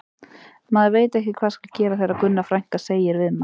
Maður veit ekki hvað skal gera þegar Gunna frænka segir við mann